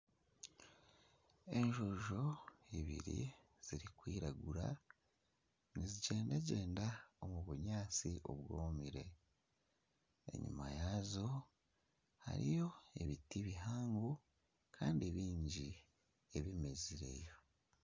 Enjojo ibiri zirikwiragura nizigyendagyenda omu bunyatsi obwomire enyuma yaazo hariyo ebiti bihango Kandi bingi ebimezire .